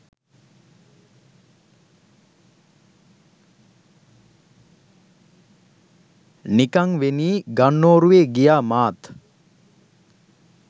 නිකංවෙනී ගන්නෝරුවෙ ගියා මාත්.